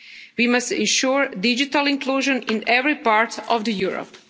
We must ensure digital inclusion in every part of Europe.